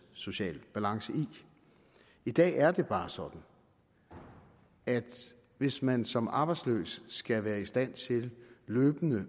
social balance i i dag er det bare sådan at hvis man som arbejdsløs skal være i stand til løbende